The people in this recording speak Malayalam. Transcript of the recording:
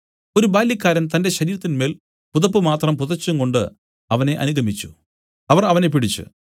ഒരു ബാല്യക്കാരൻ തന്റെ ശരീരത്തിന്മേൽ പുതപ്പ് മാത്രം പുതച്ചുംകൊണ്ട് അവനെ അനുഗമിച്ചു അവർ അവനെ പിടിച്ച്